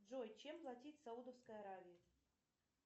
джой чем платить в саудовской аравии